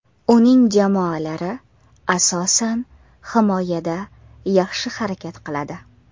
Uning jamoalari asosan, himoyada yaxshi harakat qiladi.